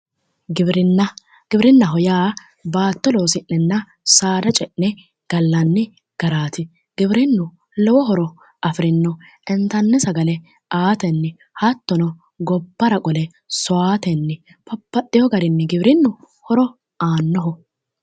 Giwirinna, giwirinnaho yaa baatto loosi'nenna saada ce'ne gallanni garaati. giwirinnu lowo horo afirino. intanni sagale aatenni hattono gobbara qole sowaatenni babbaxxewo garinni horo aannoho.